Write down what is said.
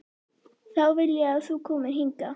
Þá vil ég að þú komir hingað!